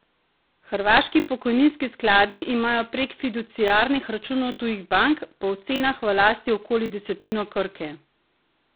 Hrvaški pokojninski skladi imajo prek fiduciarnih računov tujih bank po ocenah v lasti okoli desetino Krke.